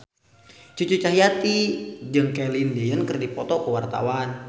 Cucu Cahyati jeung Celine Dion keur dipoto ku wartawan